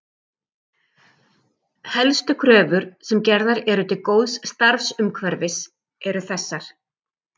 Helstu kröfur sem gerðar eru til góðs starfsumhverfis eru þessar